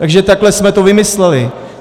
Takže takhle jsme to vymysleli.